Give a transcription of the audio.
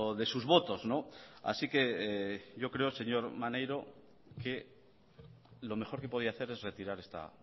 de sus votos así que yo creo señor maneiro que lo mejor que podía hacer es retirar esta